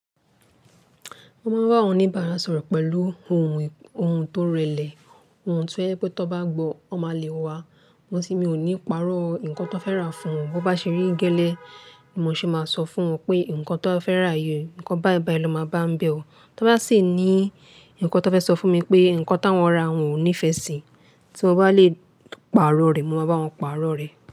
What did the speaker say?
Mo máa ń bá àwọn oníbàárà sọ̀rọ̀ pẹ̀lú ohun, ohun tó rẹlẹ̀, ohun tí wọ́n fẹ́ pé tó bá gbọ́, wọ́n máa le wa. Wọ́n sì ní mi ò ní pààrọ̀ nǹkan tó fẹ́ rà fún wọn. Bo bá ṣe rí gẹ́lẹ́, ni mo ṣe máa sọ fún wọn pé nǹkan tó fẹ́ rà yìí, nǹkan báìbàì ló máa bá ọ bẹ̀ o. Tọ́ bá sì ní ǹkan tó fẹ́ sọ fún mi pé nǹkan táwọn ra, wọn ò nífẹ̀ẹ́ sí, tí mo bá lè pààrọ̀ rẹ̀, mo máa bá wọn pààrọ̀ rẹ̀.